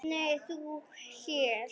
Nei, þú hér?